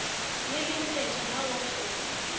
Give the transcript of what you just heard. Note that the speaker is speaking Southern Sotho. le lempetje ha ore o